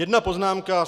Jedna poznámka.